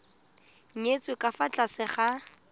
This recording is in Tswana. nyetswe ka fa tlase ga